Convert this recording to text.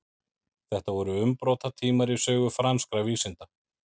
þetta voru umbrotatímar í sögu franskra vísinda